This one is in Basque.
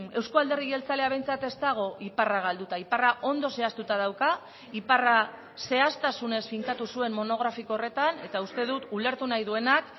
euzko alderdi jeltzalea behintzat ez dago iparra galduta iparra ondo zehaztuta dauka iparra zehaztasunez finkatu zuen monografiko horretan eta uste dut ulertu nahi duenak